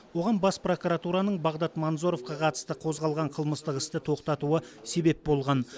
оған бас прокуратураның бағдат манзоровқа қатысты қозғалған қылмыстық істі тоқтатуы себеп болған